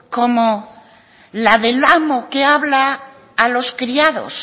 como la del amo que habla a los criados